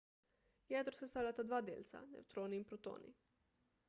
jedro sestavljata dva delca – nevtroni in protoni